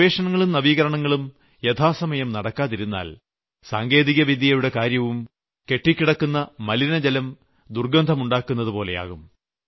ഗവേഷണങ്ങളും നവീകരണങ്ങളും യഥാസമയം നടക്കാതിരുന്നാൽ സാങ്കേതികവിദ്യയുടെ കാര്യവും കെട്ടിക്കിടക്കുന്ന മലിനജലം ദുർഗ്ഗന്ധം ഉണ്ടാക്കുന്നതുപോലെയാകും